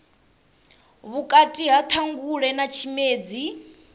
vhukati ha ṱhangule na tshimedzi